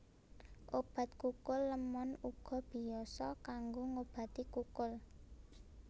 Obat kukul lémon uga biasa kanggo ngobati kukul